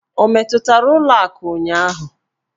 O metụtara ụlọ akụ ụnyaahụ?